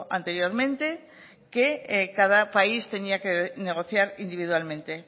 anteriormente que cada país tenía que negociar individualmente